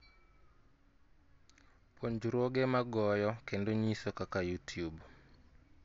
Puonjruoge magoyo kendo nyiso kaka YouTube